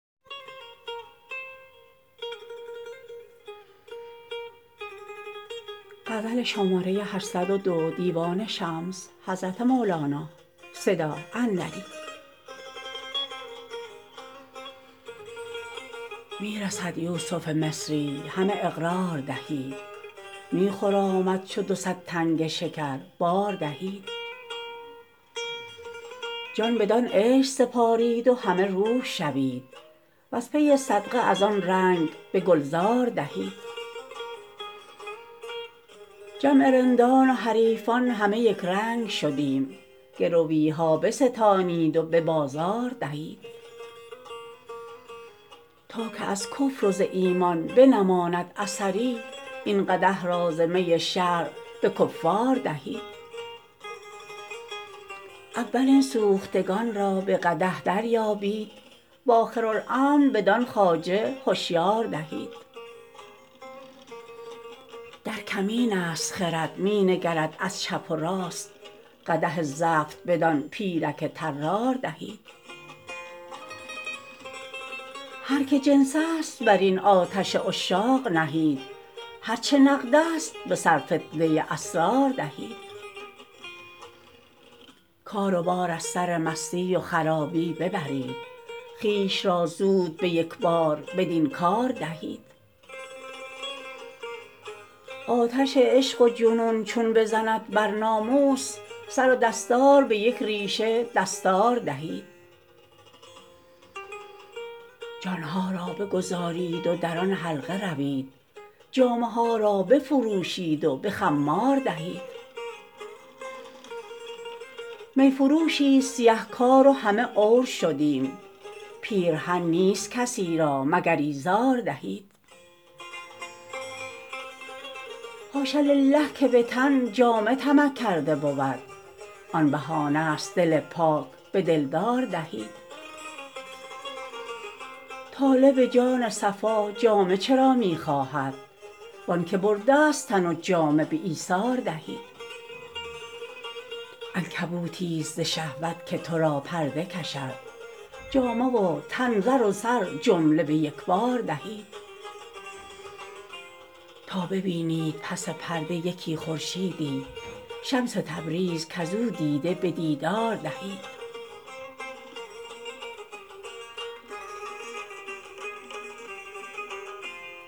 می رسد یوسف مصری همه اقرار دهید می خرامد چو دو صد تنگ شکر بار دهید جان بدان عشق سپارید و همه روح شوید وز پی صدقه از آن رنگ به گلزار دهید جمع رندان و حریفان همه یک رنگ شدیم گروی ها بستانید و به بازار دهید تا که از کفر و ز ایمان بنماند اثری این قدح را ز می شرع به کفار دهید اول این سوختگان را به قدح دریابید و آخرالامر بدان خواجه هشیار دهید در کمینست خرد می نگرد از چپ و راست قدح زفت بدان پیرک طرار دهید هر کی جنس است بر این آتش عشاق نهید هر چه نقدست به سرفتنه اسرار دهید کار و بار از سر مستی و خرابی ببرید خویش را زود به یک بار بدین کار دهید آتش عشق و جنون چون بزند بر ناموس سر و دستار به یک ریشه دستار دهید جان ها را بگذارید و در آن حلقه روید جامه ها را بفروشید و به خمار دهید می فروشیست سیه کار و همه عور شدیم پیرهن نیست کسی را مگر ایزار دهید حاش لله که به تن جامه طمع کرده بود آن بهانه ست دل پاک به دلدار دهید طالب جان صفا جامه چرا می خواهد و آنک برده ست تن و جامه به ایثار دهید عنکبوتیست ز شهوت که تو را پرده کشد جامه و تن زر و سر جمله به یک بار دهید تا ببینید پس پرده یکی خورشیدی شمس تبریز کز او دیده به دیدار دهید